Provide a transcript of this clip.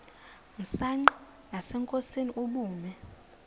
msanqa nasenkosini ubume